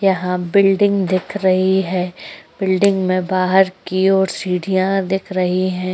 यहाँ बिल्डिंग दिख रही है। बिल्डिंग में बाहर की ओर सीढ़ियाँ दिख रही है।